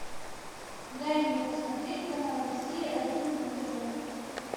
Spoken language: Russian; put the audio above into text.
дай мне посмотреть канал россия один на тв